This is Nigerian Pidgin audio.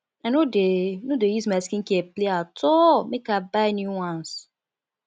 i no dey no dey use my skincare play at all make i buy new ones